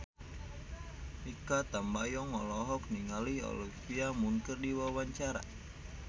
Mikha Tambayong olohok ningali Olivia Munn keur diwawancara